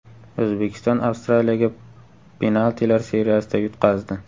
O‘zbekiston Avstraliyaga penaltilar seriyasida yutqazdi.